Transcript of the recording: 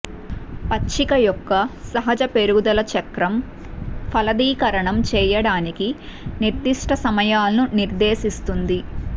పచ్చిక యొక్క సహజ పెరుగుదల చక్రం ఫలదీకరణం చేయడానికి నిర్దిష్ట సమయాలను నిర్దేశిస్తుంది